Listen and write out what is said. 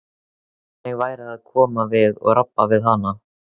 Hvernig væri að koma við og rabba við hana?